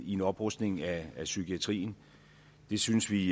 i en oprustning af psykiatrien det synes vi